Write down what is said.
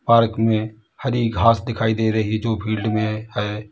Park में हरि घास दिखाई दे रही है जो फिल्ड में है।